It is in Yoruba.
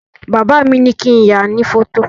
Bàbá mi ní kín yàá ní fọ́tò